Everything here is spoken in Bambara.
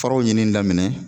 Faraw ɲinini daminɛ.